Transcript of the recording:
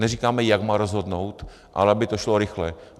Neříkáme, jak má rozhodnout, ale aby to šlo rychle.